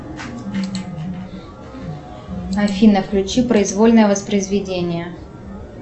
афина включи произвольное воспроизведение